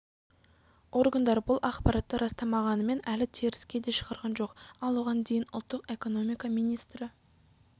органдар бұл ақпаратты растамағанымен әлі теріске де шығарған жоқ ал оған дейін ұлттық экономика министрі